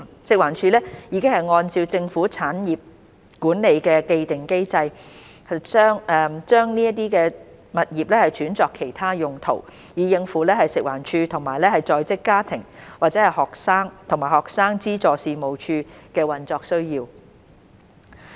食環署已按照政府產業管理的既定機制，將這些物業轉作其他用途，以應付食環署和在職家庭及學生資助事務處的運作需要。